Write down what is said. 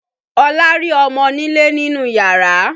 Olá rí ọmọnilé ni nínú yàrá